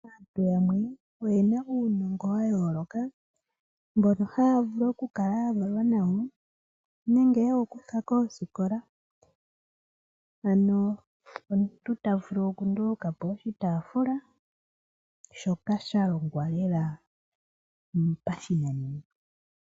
Aantu yamwe oyena uunongo wa yooloka, mbono haya vulu okukala ya valwa nawo nenge yewu kutha koosikola. Ano omuntu ta vulu oku ndulukapo oshitaafula, shoka sha longwa lela pashinanena.